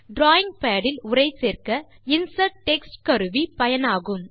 drawing pad இல் உரை சேர்க்க இன்சர்ட் டெக்ஸ்ட் கருவி பயனாகும்